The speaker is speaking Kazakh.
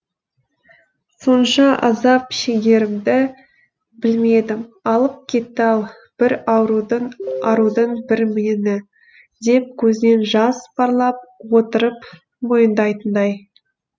сонша азап шегерімді білмедім алып кетті ау бір арудың бір меңі деп көзінен жас парлап отырып мойындайтындай